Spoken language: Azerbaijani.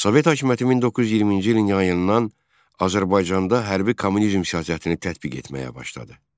Sovet hakimiyyəti 1920-ci ilin yayından Azərbaycanda hərbi kommunizm siyasətini tətbiq etməyə başladı.